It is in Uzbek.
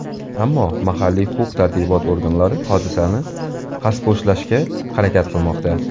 Ammo mahalliy huquq-tartibot organlari hodisani xaspo‘shlashga harakat qilmoqda.